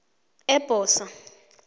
ebhosa